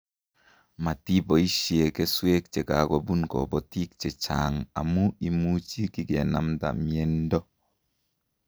Matiboisie keswek che kikobun kobitin che chang' amu imuchi kikenamta miendo